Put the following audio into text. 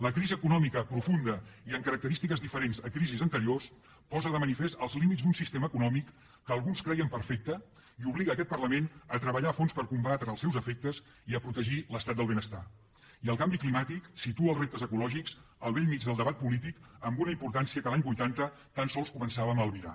la crisi econòmica profunda i amb característiques diferents a crisis anteriors posa de manifest els límits d’un sistema econòmic que alguns creien perfecte i obliga aquest parlament a treballar a fons per a combatre els seus efectes i a protegir l’estat del benestar i el canvi climàtic situa els reptes ecològics al bell mig del debat polític amb una importància que l’any vuitanta tan sols començàvem a albirar